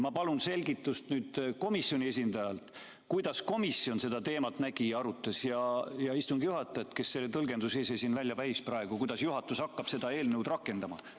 Ma palun nüüd komisjoni esindajalt selgitust, kuidas komisjon seda teemat nägi ja arutas, ja küsin ka istungi juhatajalt, kes ise siin selle tõlgenduse välja käis, kuidas hakkab juhatus seda eelnõu rakendama.